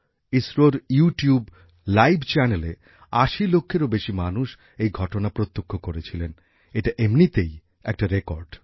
ইসরোর YouTube live চ্যানেলে আশি লক্ষেরও বেশি মানুষ এই ঘটনা প্রত্যক্ষ করেছিলেন এটা এমনিতেই একটা রেকর্ড